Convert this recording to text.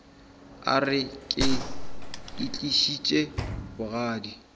a re ke itlišitše bogadi